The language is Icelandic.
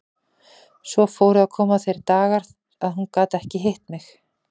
Svo fóru að koma þeir dagar að hún gat ekki hitt mig.